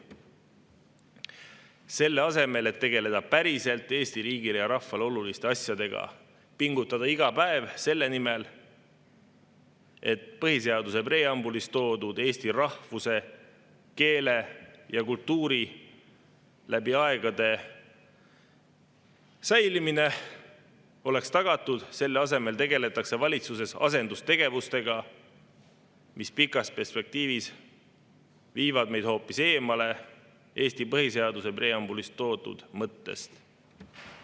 Selle asemel, et tegeleda Eesti riigile ja rahvale päriselt oluliste asjadega, pingutada iga päev selle nimel, et põhiseaduse preambulis toodud eesti rahvuse, keele ja kultuuri läbi aegade säilimine oleks tagatud, tegeldakse valitsuses asendustegevusega, mis pikas perspektiivis viib meid hoopis eemale Eesti põhiseaduse preambulis toodud mõttest.